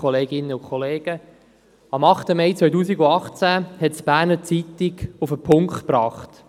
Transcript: Am 8. Mai 2018 hat es die «Berner Zeitung (BZ)» auf den Punkt gebracht: